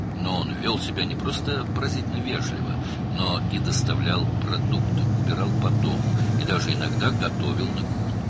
Amma o, özünü sadəcə heyrətamiz dərəcədə nəzakətli aparmır, həm də ərzaq gətirir, evi təmizləyir və hətta bəzən mətbəxdə yemək hazırlayırdı.